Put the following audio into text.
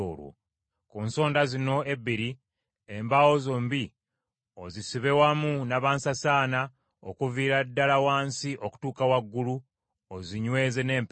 Ku nsonda zino ebbiri embaawo zombi ozisibe wamu nabansasaana okuviira ddala wansi okutuuka waggulu, ozinyweze n’empeta.